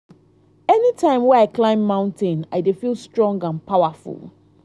anytime wey i climb mountain i dey feel strong and powerful.